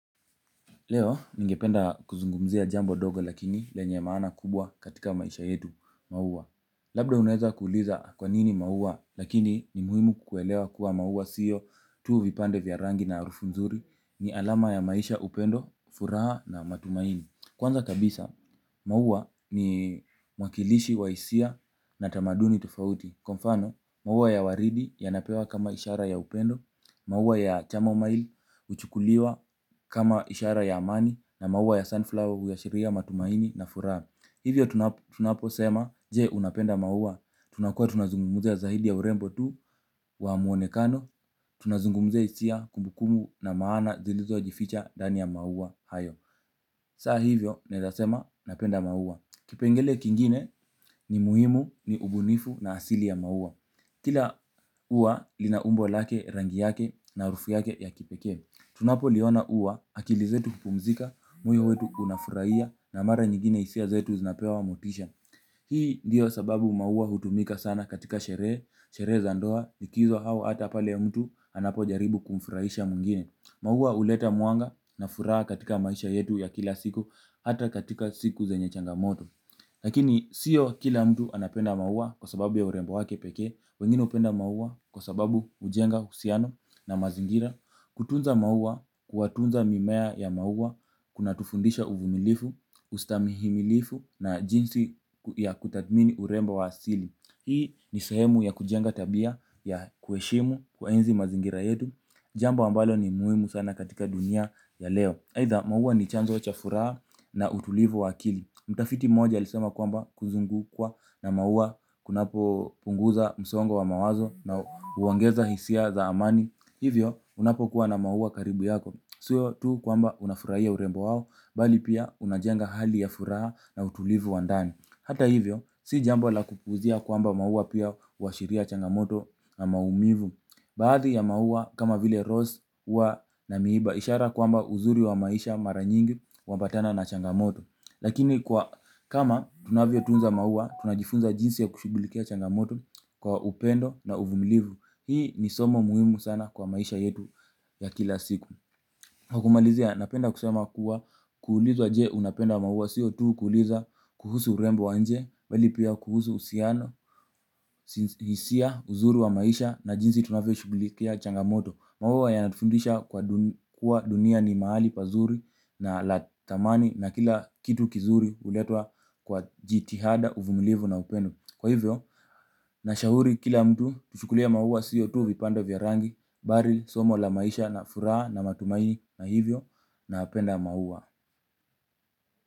Leo ningependa kuzungumzia jambo dogo lakini lenye maana kubwa katika maisha yetu maua. Labda unaeza kuuliza kwa nini maua lakini ni muhimu kukuelewa kuwa maua siyo tu vipande vya rangi na arufu nzuri ni alama ya maisha upendo, furaha na matumaini. Kwanza kabisa, maua ni mwakilishi wa hisia na tamaduni tofauti. Kwa mfano, maua ya waridi yanapewa kama ishara ya upendo, maua ya chamamail huchukuliwa kama ishara ya amani na maua ya sunflower huashiria matumaini na furaha. Hivyo tunapo sema, je unapenda maua? Tunakua tunazungumuzia zaidi ya urembo tu wa muonekano, tunazungumuzia hisia kumbukumbu na maana zilizo jificha ndani ya maua hayo. Saa hivyo, naezasema, napenda maua. Kipengele kingine ni muhimu ni ubunifu na asili ya maua. Kila uwa linaumbo lake rangi yake na arufu yake ya kipekee. Tunapoliona ua akili zetu hupumzika. Moyo wetu unafurahia na mara nyingine hisia zetu zinapewa motisha. Hii diyo sababu maua hutumika sana katika sherehe. Sherehe za ndoa likizo hau hata pale ya mtu anapo jaribu kumfurahisha mwingine. Maua huleta mwanga na furaha katika maisha yetu ya kila siku. Hata katika siku zenye changamoto lakini sio kila mtu anapenda maua kwa sababu ya urembo wake peke. Wengine upenda maua kwa sababu ujenga husiano na mazingira. Kutunza maua, kuwatunza mimea ya maua kuna tufundisha uvumilifu, ustamihimilifu na jinsi ya kutathmini urembo wa asili. Hii ni sehemu ya kujenga tabia ya kuheshimu kuyaenzi mazingira yetu. Jambo ambalo ni muimu sana katika dunia ya leo aitha maua ni chanzo cha furaha na utulivu wakili. Mtafiti mmoja alisema kwamba kuzungukwa na maua kuna punguza msongo wa mawazo na huongeza hisia za amani. Hivyo, unapo kuwa na maua karibu yako. Sio tu kwamba unafurahia urembo wao, bali pia unajenga hali ya furaha na utulivu wa ndani. Hata hivyo, si jambo la kupuuzia kwamba maua pia huashiria changamoto na maumivu. Baadhi ya maua kama vile rose huwa na miba ishara kwamba uzuri wa maisha mara mingi huambatana na changamoto. Lakini kama tunavyo tunza maua, tunajifunza jinsi ya kushughilikia changamoto kwa upendo na uvumilivu. Hii ni somo muhimu sana kwa maisha yetu ya kila siku. Kwa kumalizia, napenda kusema kuwa kuulizwa je, unapenda maua? Sio tu kuulizwa kuhusu urembo wa nje bali pia uhusiano hisia, uzuri wa maisha na jinsi tunavyo shughilikia changamoto. Maua ya natufundisha kuwa dunia ni mahali pazuri na la tamani na kila kitu kizuri uletwa kwa jitihada uvumilivu na upendo. Kwa hivyo, na shauri kila mtu tushukulia mauwa sio tu vipande vya rangi, bari, somo la maisha na furaha na matumaini na hivyo na penda maua.